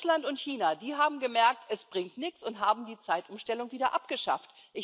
Russland und China haben gemerkt, es bringt nichts, und haben die Zeitumstellung wieder abgeschafft.